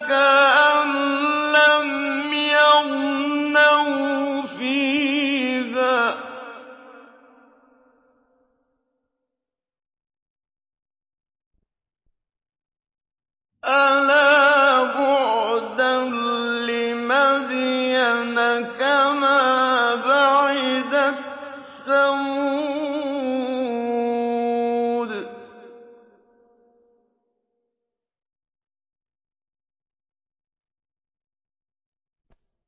كَأَن لَّمْ يَغْنَوْا فِيهَا ۗ أَلَا بُعْدًا لِّمَدْيَنَ كَمَا بَعِدَتْ ثَمُودُ